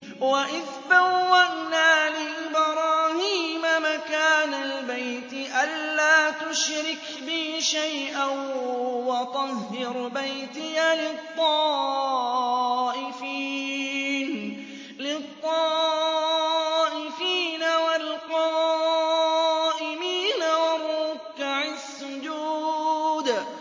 وَإِذْ بَوَّأْنَا لِإِبْرَاهِيمَ مَكَانَ الْبَيْتِ أَن لَّا تُشْرِكْ بِي شَيْئًا وَطَهِّرْ بَيْتِيَ لِلطَّائِفِينَ وَالْقَائِمِينَ وَالرُّكَّعِ السُّجُودِ